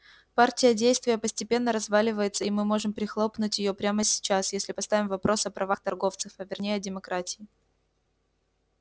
партия действия постепенно разваливается и мы можем прихлопнуть её прямо сейчас если поставим вопрос о правах торговцев а вернее о демократии